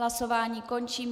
Hlasování končím.